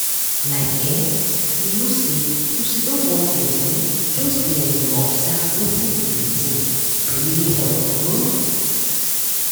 like[um]you know say to sidon one place um just dey um observe wetin you dey think dey really help um